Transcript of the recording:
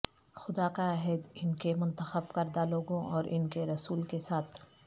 خدا کا عہد ان کے منتخب کردہ لوگوں اور ان کے رسول کے ساتھ